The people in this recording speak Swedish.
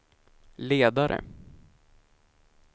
ledare